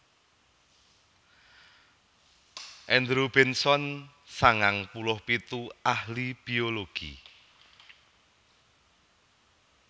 Andrew Benson sangang puluh pitu ahli biologi